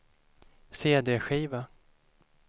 cd-skiva